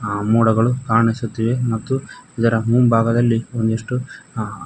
ಅ ಮೋಡಗಳು ಕಾಣಿಸುತ್ತವೆ ಮತ್ತು ಇದರ ಮುಂಭಾಗದಲ್ಲಿ ಒಂದಿಷ್ಟು--